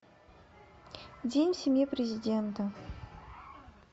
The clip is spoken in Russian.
день в семье президента